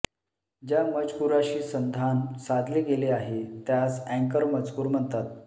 ज्या मजकुराशी संधान साधले गेले आहे त्यास अँकर मजकूर म्हणतात